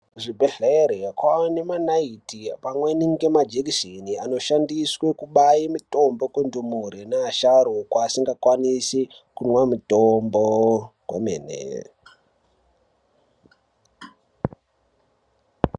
Kuzvibhedhlera kwane manaiti pamwe nemajekiseni anoshandiswe kubaya mitombo kundumure neasharukwa asingakwanisi kumwa mitombo kwemene .